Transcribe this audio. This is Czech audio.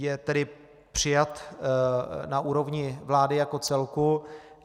Je tedy přijat na úrovni vlády jako celku.